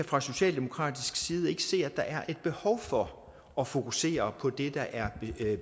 fra socialdemokratisk side ikke kan se at der er et behov for at fokusere på det der er